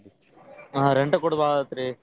ಹಾ rent ಕೊಡೋದ್ ಬಾಳ್ ಆಗತ್ರಿ.